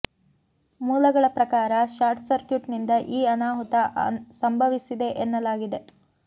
ಮೂಲಗಳ ಪ್ರಕಾರ short circuit ನಿಂದ ಈ ಅನಾಹುತ ಸಂಭವಿಸಿದೆ ಎನ್ನಲಾಗಿದೆ